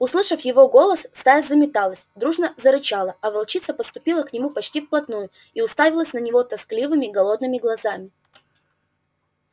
услышав его голос стая заметалась дружно зарычала а волчица подступила к нему почти вплотную и уставилась на него тоскливыми голодными глазами